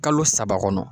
Kalo saba kɔnɔ